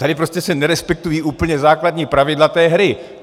Tady se prostě nerespektují úplně základní pravidla té hry.